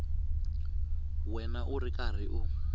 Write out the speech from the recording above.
wena u ri karhi u